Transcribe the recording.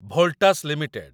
Voltas limited